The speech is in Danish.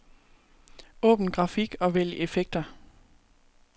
Åbn grafik og vælg effekter.